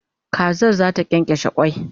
Kazar zata kyankyashe kwai